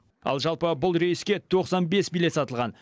ал жалпы бұл рейске тоқсан бес билет сатылған